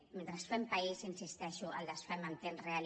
mentre fem país hi insisteixo el desfem en temps real